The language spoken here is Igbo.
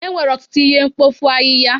Enwere ọtụtụ ihe mkpofu ahịhịa.